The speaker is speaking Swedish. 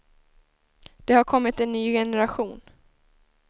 Det har kommit en ny generation.